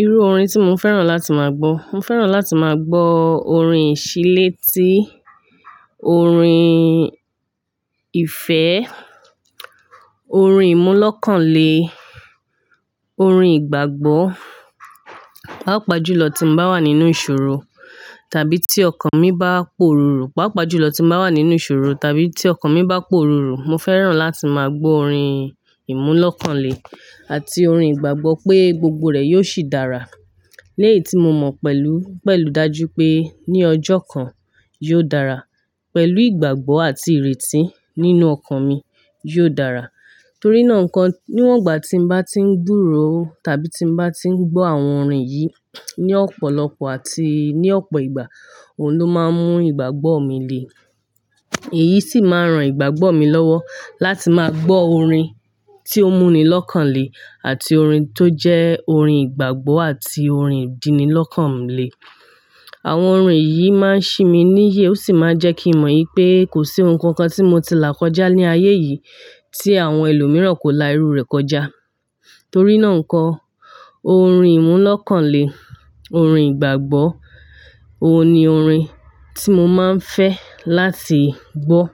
Irú orin tí mo fẹ́ràn láti máa gbọ́. Mo fẹ́ràn láti máa gbọ́ orin ìṣílètí, orin ìfẹ́, orin ìmúlọ́kànlé, orin ìgbàgbọ́. Páápàá jùlọ tí mo bá wà nínú ìṣòro tàbí tí ọkàn mi bá poró, pàápàá jùlọ tí n bá wà nínú ìṣòro tàbí tí ọkàn mi bá pororo mo fẹ́ràn láti máa gbọ́ orin ìmúlọ́kànlé àti orin ìgbàgbọ́ pé gbogbo rẹ̀ yóò ṣì dára. Léyi tí mo mọ̀ pẹ̀lú, pẹ̀lú dájú pé ní ọjọ́ kan, yóò dára. Pẹ̀lú ìgbàgbọ́ àti ìrètí nínú ọkàn mi, yóò dára. Torí náà nǹkan, níwọ̀n ìgbà tí mo bá ti ń gburo tàbí tí mo bá ti ń gbọ́ àwọn orin yìí ní ọ̀pọ̀lọpọ̀ àti ní ọ̀pọ̀ ìgbà, òun ló máa ń mú ìgbàgbọ́ mi le. Èyí sì máa ń ran ìgbàgbọ́ mi lọ́wọ́ láti máa gbọ́ orin tí ó múni lọ́kàn lé àti orin tó jẹ́ orin ìgbàgbọ́ àti orin ìdínilọ́kànlé. Àwọn orin yìí máa ń ṣi mi níyè ó sì máa ń jẹ́ kí n mọ̀ pé kò sí ohun kan kan tí mo ti là kọjá ní ayé yìí tí àwọn ẹlòmíràn kò la irú rẹ̀ kọjá. Torí náà ńkọ́ orin ìmúlọ́kànlé, orin ìgbàgbọ́, òun ni orin tí mo máa ń fẹ́ láti gbọ́.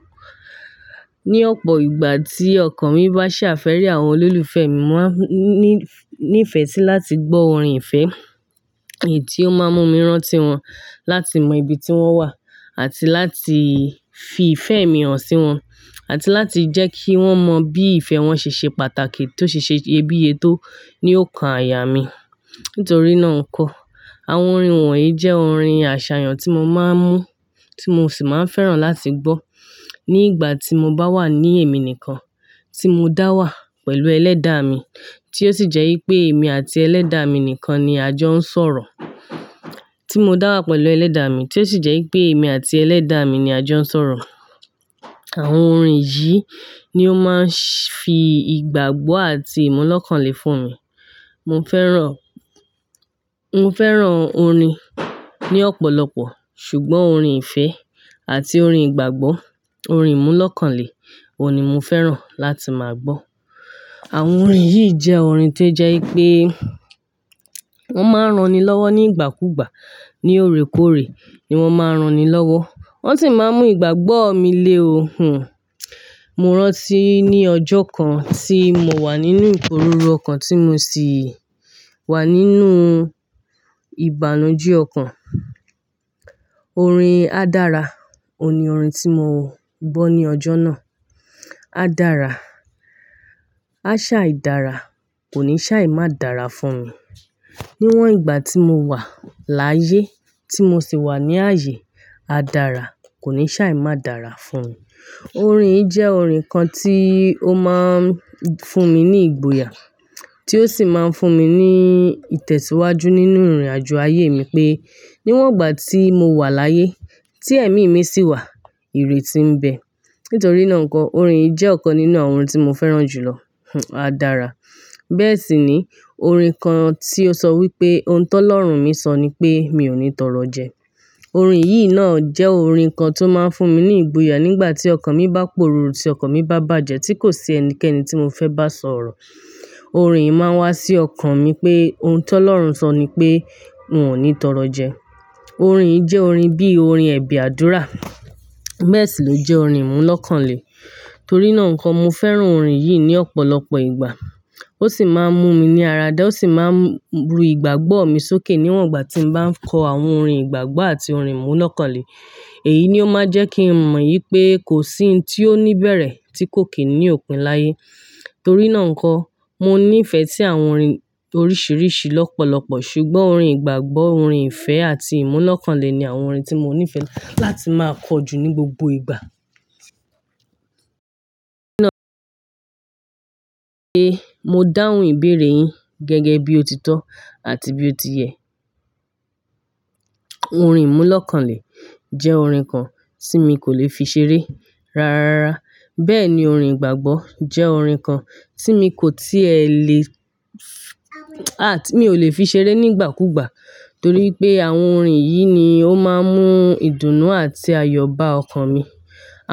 Ni ọ̀pọ̀ ìgbà tí ọkàn mi bá ṣàfẹ́rì àwọn olólùfẹ́ mi, mo máa ní-ní ìfẹ́ sí láti gbọ́ orin ìfẹ́ èyí tí ó máa ń mú mi rán tí wọn, láti mọ ibi tí wọ́n wà àti láti fi ìfẹ́ mi hàn sí wọn àti láti jẹ́ kí wọ́n mọ bí ìfẹ́ wọn ṣe ṣe pàtàkì tó ṣe ṣe iyebíye tó ní òokàn àyà mí. Nítorí náà ńkọ́ àwọn orin wọ̀nyí jẹ́ orin àṣàyàn tí mo máa ń mú, tí mo sì máa ń fẹ́ràn láti gbọ́. Ní ìgbà tí mo bá wà ní èmi nìkan, tí mo dá wà pẹ̀lú ẹlẹ́dàá mi tí ó sì jẹ́ wípé èmi àti ẹlẹ́dàá mi nìkan ni àjọ ń sọ̀rọ̀, tí mo dá wà pẹ̀lú ẹlẹ́dàá mi tí ó sì jẹ́ wípé èmi àti ẹlẹ́dàá mi ni àjọ ń sọ̀rọ̀, àwọn orin yìí ni ó máa ń fi ìgbàgbọ́ àti ìmúlọ́kànlé fún mi. Mo fẹ́ràn, mo fẹ́ràn orin ní ọ̀pọ̀lọpọ̀ ṣùgbọ́n orin ìfẹ́ àti orin ìgbàgbọ́, orin ìmúlọ́kànlé òun ni mo fẹ́ràn láti máa gbọ́. Àwọn orin yìí jẹ́ orin tó jẹ́ wípé wọ́n máa ń ran ni lọ́wọ́ ní ìgbàkúgbà, ní oòrékoòré ni wọ́n máa ń ran ni lọ́wọ́. Wọ́n sì máa ń mú ìgbàgbọ́ mi le o. Hhn. Mo rántí ní ọjọ́ kan tí mo wà nínú ìporuru ọkàn tí mo sì wà nínú ìbànújẹ́ ọkàn. Orin "A dára" òun ni orin tí mo gbọ́ ní ọjọ́ náà. A dára, a ṣá ì dára, kò ní sá ì má dára fún mi. Níwọ̀n ìgbà tí mo wà láyé tí mo sì wà ní ààyè, a dára, kò ní sá ì má dára fún mi. Orin yìí jẹ́ orin kan tí ó máa ń fún mi ní ìgboyà tí ó sì máa ń fún mi ní ìtẹ̀síwájú nínú ìrìnàjò ayé mi pé níwọ̀n ìgbà tí mo wà láyé tí ẹ̀mí mi sì wà, ìrètí ń bẹ. Nítorí náà ńkọ́ orin yìí jẹ́ ọ̀kan nínú àwọn ohun tí mo fẹ́ràn jùlọ, a dára. Bẹ́ẹ̀ sì ni orin kan tí ó sọ wípé "Ohun tó lọ́run mí sọ ni pé mi ò ní tọrọ jẹ". Orin yìí náà jẹ́ orin kan tó máa ń fún mi ní ìgboyà nígbà tí ọkàn mi bá poruru, tì ọkàn mi bá bàjẹ́ tí kò sí ẹnikẹ́ni tí mo fẹ́ bá sọ̀rọ̀. Orin yìí máa ń wá sí ọkàn mi pé ohun tọlọ́run sọ ni pé n ò ní tọrọ jẹ. Orin yìí jẹ́ orin bíi orin ẹ̀bẹ àdúrà. Bẹ́ẹ̀ sì ló jẹ́ orin ìmúlọ́kànlé. Torí náà ńkọ́ mo fẹ́ràn orin yìí ní ọ̀pọ̀lọpọ̀ ìgbà. Ó sì máa ń mú mi ní àradà ó sì máa ń ru ìgbàgbọ́ mi sókè níwọ̀n ìgbà tí mo bá ń kọ àwọn orin ìgbàgbọ́ àti orin ìmúlọ́kànlé. Èyí ni ó máa ń jẹ́ kí n mọ̀ wípé kò sí ohun tí ó níbẹ̀rẹ̀ tí kò kín ní òpin láyé. Torí náà ńkọ́ mo ní ìfẹ́ sí àwọn orin oríṣiríṣi lọ́pọ̀lọpọ̀ ṣùgbọ́n orin ìgbàgbọ́, orin ìfẹ́ àti ìmúlọ́kànlé ni àwọn orin tí mo ní ìfẹ́ láti máa kọ jú ní gbogbo ìgbà. Mo dáhùn ìbéèrè yín gẹ́gẹ́ bí ó ti tọ́ àti bí ó ti yẹ. Orin ìmúlọ́kànlé jẹ́ orin kan tí mi kò le fi ṣeré rárára. Bẹ́ẹ̀ ni orin ìgbàgbọ́ jẹ́ orin kan tí mi kò tí ẹ lè-- mi ò le fi ṣeré nígbàkúgbà torí pé àwọn orin yìí ni ó máa ń mú ìdùnnú àti ayọ̀ bá ọkàn mi.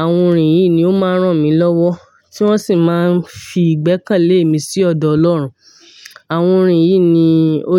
Àwọn orin yìí ni ó máa ń rán mi lọ́wọ́ tí wọ́n sì máa ń fi ìgbẹ́kẹ̀lé mi sí ọ̀dọ̀ Ọlọ́run. Àwọn orin yìí ni ó.